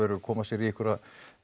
koma sér í einhverjar